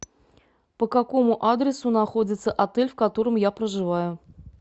по какому адресу находится отель в котором я проживаю